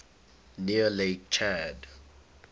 near lake chad